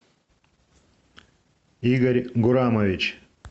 игорь гурамович